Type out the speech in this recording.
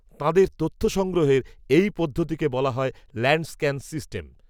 তাঁদের তথ্য সংগ্রহের, এই পদ্ধতিকে বলা হয়, ল্যাণ্ড, স্ক্যান সিস্টেম